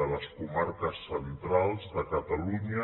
de les comarques centrals de catalunya